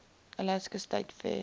alaska state fair